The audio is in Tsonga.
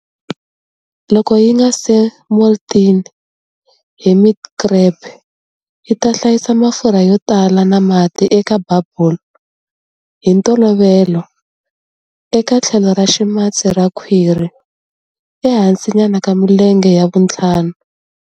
Loko yinga se molting, hermit crab yita hlayisa mafurha yotala na mati eka"bubble" hi ntolovelo eka tlhelo ra ximatsi ra khwiri, ehansi nyana ka milenge ya vuntlhanu.